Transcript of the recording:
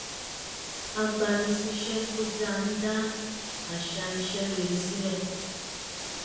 agbani-síṣẹ́ tó dáa ń dá àṣà iṣẹ́ rere sílẹ̀